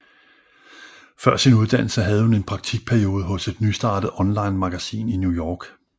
Før sin uddannelse havde hun en praktikperiode hos et nystartet onlinemagasin i New York